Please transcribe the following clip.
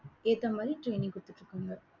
ஏத்த மாதிரி training கொடுத்துட்டிருக்காங்க